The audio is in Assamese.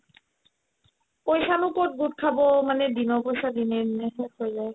পইচানো ক'ত গোট খাব মানে দিনৰ পইচা দিনে দিনে শেষ হৈ যায়